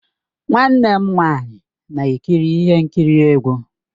Nwanne m nwanyị na-ekiri ihe nkiri egwu.